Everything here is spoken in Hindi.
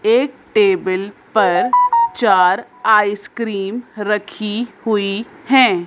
एक टेबल पर चार आइसक्रीम रखी हुई हैं।